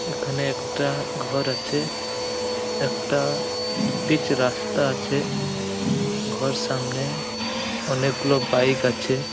এখানে একটা ঘর আছে । একটা পিচ রাস্তা আছে। ঘর সামনে অনেকগুলো বাইক আছে-এ ।